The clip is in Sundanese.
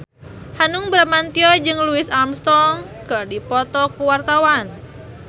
Hanung Bramantyo jeung Louis Armstrong keur dipoto ku wartawan